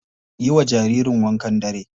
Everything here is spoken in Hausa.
Yiwa jaririn wankan dare.